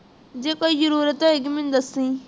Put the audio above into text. ਜੇ ਕੋਈ ਜ਼ਰੂਰਤ ਹੋਇ ਤੇ ਮੈਨੂੰ ਦੱਸੀ